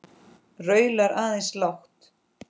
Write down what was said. Raular aðeins lágt.